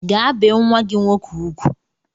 Gaa bee nwa gị nwoke ugwu!